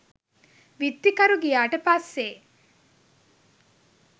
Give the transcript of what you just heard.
විත්තිකරු ගියාට පස්සේ